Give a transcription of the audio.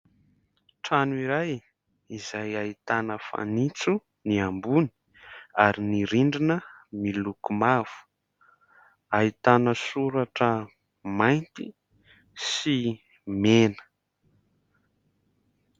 Trano iray izay ahitana fanitso ny ambony ary ny rindrina miloko mavo, ahitana soratra mainty sy mena.